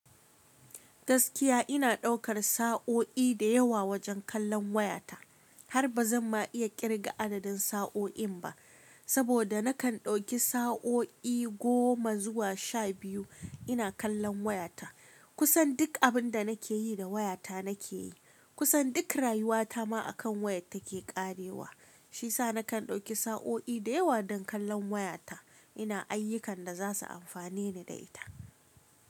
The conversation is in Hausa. Gaskiya ina daukar sa'o'i da yawa wajen kallon wayata har ba zan ma iya kirga adadin sa'o'in ba, saboda nakan dauki sa'o'i goma zuwa sha biyu ina kallon wayata. Kusan duk abin da nake yi da wayata nake yi. Kusan duk rayuwata ma akan waya take karewa. Shi sa nakan dauki sa'o'i da yawa don kallon wayata ina ayyukan da za su amfane ni da ita.